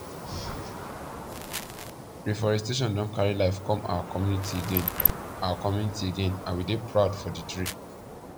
reforestation don carry life come our community again our community again and we dey proud for the tree